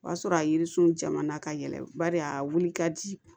O y'a sɔrɔ a yirisun jama na ka yɛlɛ bari a wuli ka di